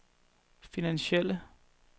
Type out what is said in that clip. finansielle